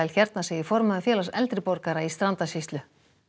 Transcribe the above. hérna segir formaður félags eldri borgara í Strandasýslu